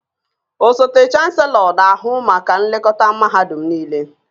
Osote Chanselọ na-ahụ maka nlekọta mahadum niile